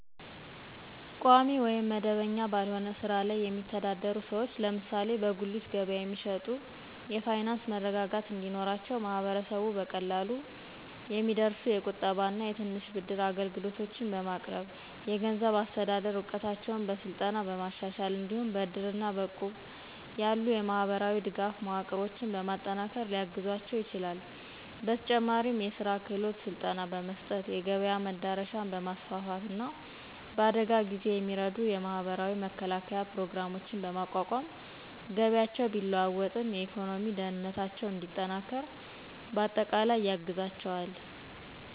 ቋሚ ወይም መደበኛ ባልሆነ ሥራ ላይ የሚተዳደሩ ሰዎች (ለምሳሌ በጉሊት ገበያ የሚሸጡ) የፋይናንስ መረጋጋት እንዲኖራቸው ማህበረሰቡ በቀላሉ የሚደርሱ የቁጠባና የትንሽ ብድር አገልግሎቶችን በማቅረብ፣ የገንዘብ አስተዳደር እውቀታቸውን በስልጠና በማሻሻል፣ እንዲሁም በእድርና በእቁብ ያሉ የማህበራዊ ድጋፍ መዋቅሮችን በማጠናከር ሊያግዛቸው ይችላል፤ በተጨማሪም የሥራ ክህሎት ስልጠና በመስጠት፣ የገበያ መዳረሻን በማስፋፋት፣ እና በአደጋ ጊዜ የሚረዱ የማህበራዊ መከላከያ ፕሮግራሞችን በማቋቋም ገቢያቸው ቢለዋወጥም የኢኮኖሚ ደህንነታቸው እንዲጠናከር በአጠቃላይ ያግዛቸዋል።